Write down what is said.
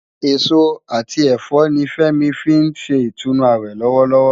Esó ati ẹfọ ni Femi fin ṣé itúnú áwè lòwòlòwò